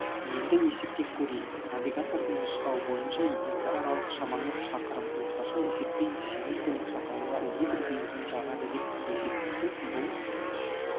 енді есептеп көрейік навигатордың нұсқауы бойынша екі аралық шамамен шақырым орташа есеппен жеңіл көлік шақырымға литр бензин жағады деп есептесек бұл